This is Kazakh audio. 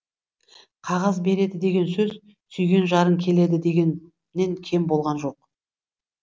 қағаз береді деген сөз сүйген жарың келеді дегеннен кем болған жоқ